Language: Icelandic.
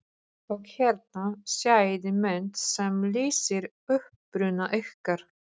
Og hérna sjáiði mynd sem lýsir uppruna ykkar.